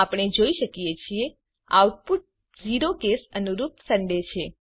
આપણે જોઈ શકીએ છીએ આઉટપુટ 0કેસ અનુરૂપSunday છે